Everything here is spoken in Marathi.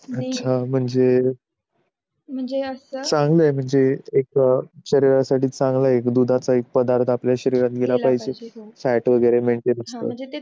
अच्छा म्हणजे म्हणजे असं चांगलं आहे एक म्हणजे शरीरासाठी चांगलं आहे असा एक दूध पदार्थ आपल्या शरीरात गेलं पाहिजे गेलं पाहिजे फॅट मेन्टेन करायला हा म्हणजे तेच